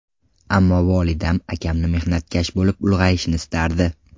Ammo volidam akamni mehnatkash bo‘lib ulg‘ayishini istardi.